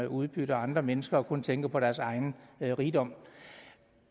udbytter andre mennesker og kun tænker på deres egen rigdom